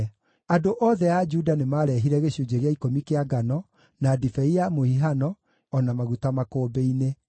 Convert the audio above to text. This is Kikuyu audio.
Andũ othe a Juda nĩmarehire gĩcunjĩ gĩa ikũmi kĩa ngano, na ndibei ya mũhihano, o na maguta makũmbĩ-inĩ.